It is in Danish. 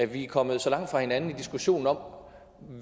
vi er kommet så langt fra hinanden i diskussionen om